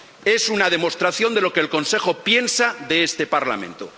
Es una demostración de lo que el Consejo piensa de este Parlamento.